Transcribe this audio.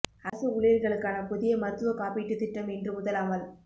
அரசு ஊழியர்களுக்கான புதிய மருத்துவக் காப்பீட்டுத் திட்டம் இன்று முதல் அமல்